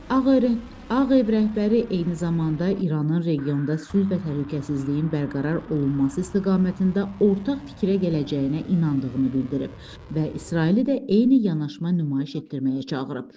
Ağ Ağ ev rəhbəri eyni zamanda İranın regionda sülh və təhlükəsizliyin bərqərar olunması istiqamətində ortaq fikrə gələcəyinə inandığını bildirib və İsraili də eyni yanaşma nümayiş etdirməyə çağırıb.